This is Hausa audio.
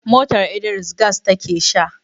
motar Idris gas take Sha